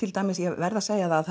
ég verð að segja það